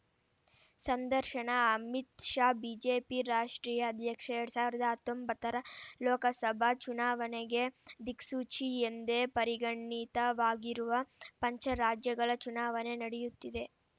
ಸಂದರ್ಶನ ಅಮಿತ್‌ ಶಾ ಬಿಜೆಪಿ ರಾಷ್ಟ್ರೀಯ ಅಧ್ಯಕ್ಷ ಎರಡ್ ಸಾವಿರದ ಹತ್ತೊಂಬತ್ತರ ಲೋಕಸಭಾ ಚುನಾವಣೆಗೆ ದಿಕ್ಸೂಚಿ ಎಂದೇ ಪರಿಗಣಿತವಾಗಿರುವ ಪಂಚರಾಜ್ಯಗಳ ಚುನಾವಣೆ ನಡೆಯುತ್ತಿದೆ